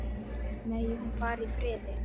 Megi hún fara í friði.